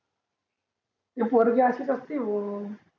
ती पोरगी अशीच असती भो